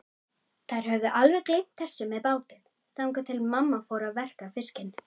Þær höfðu alveg gleymt þessu með bátinn, þangað til mamma fór að verka fiskinn.